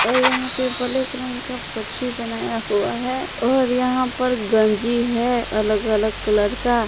यहां पे ब्लैक रंग का पक्षी बनाया हुआ है और यहां पर गंजी है अलग अलग कलर का।